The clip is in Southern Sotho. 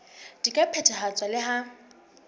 di ka phethahatswa le ha